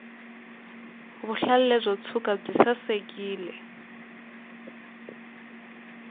vuhlalu lebyi byo ntsuka byi sasekile